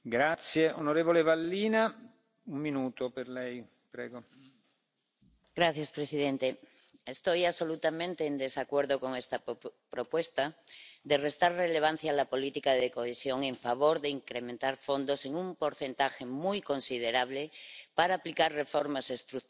Señor presidente, estoy absolutamente en desacuerdo con esta propuesta de restar relevancia a la política de cohesión en favor de incrementar fondos en un porcentaje muy considerable para aplicar reformas estructurales que solo están trayendo consecuencias nefastas